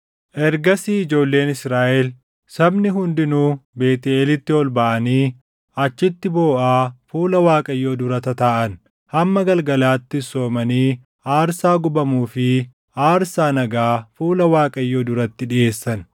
Ergasii ijoolleen Israaʼel, sabni hundinuu Beetʼeelitti ol baʼanii achitti booʼaa fuula Waaqayyoo dura tataaʼan. Hamma galgalaattis soomanii aarsaa gubamuu fi aarsaa nagaa fuula Waaqayyoo duratti dhiʼeessan.